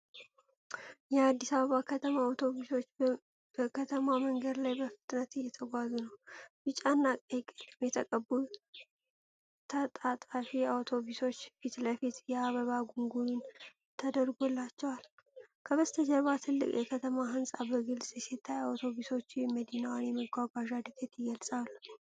የአዲስ አበባ ከተማ አውቶቡሶች በከተማ መንገድ ላይ በፍጥነት እየተጓዙ ነው። ቢጫና ቀይ ቀለም የተቀቡ ተጣጣፊ አውቶቡሶች ፊት ለፊት የአበባ ጉንጉን ተደርጎላቸዋል። ከበስተጀርባ ትልቅ የከተማ ሕንፃ በግልጽ ሲታይ፣ አውቶቡሶቹ የመዲናዋን የመጓጓዣ ዕድገት ይገልጻሉ።